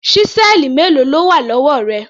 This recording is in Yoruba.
Ṣísẹ́ẹ̀lì mélòó ló wà lọ́wọ́ rẹ?